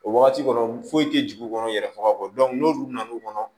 O wagati kɔnɔ foyi tɛ jigin u kɔnɔ yɛrɛ faga kɔ n'olu nana n'u kɔnɔ